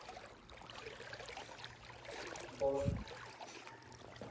бош